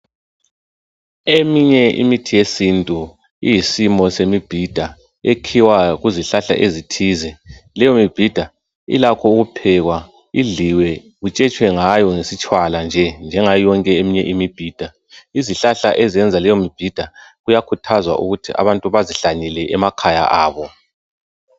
eminye imithi yesintu iyisimo yemibhida ekhiwa kuzihlahla ezithile leyimbida ilakho ukuphekwa indliwe kutshetshwengayo ngesitshwala nje njengayoyonkeimibhida izihlahla eziyenza leyi mbhida kuyakhuthazwa ukuthi abantu bazihlanyele emakhaya abo.